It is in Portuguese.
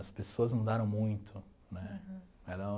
As pessoas mudaram muito, né? Era